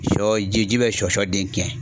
Sɔ ji be sɔ den tiɲɛ.